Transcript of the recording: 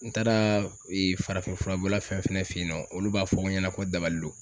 N taara ee farafinfura bɔla fɛn fɛn fe yen nɔ olu b'a fɔ n ɲɛna ko dabali do